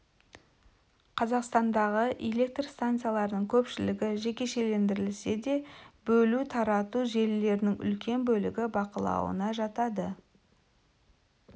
қазақстандағы электр станцияларының көпшілігі жекешелендірілсе де бөлу тарату желілерінің үлкен бөлігі бақылауына жатады